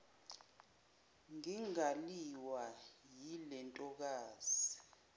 ngingaliwa yile ntokazi